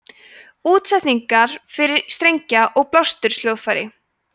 útsetningar fyrir strengja og blásturs hljóðfæri